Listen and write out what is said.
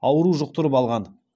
ауру жұқтырып алған